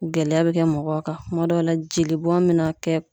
Gɛlɛya bɛ kɛ mɔgɔw kan , kuma dɔw la jeli bɔn bɛ na kɛ.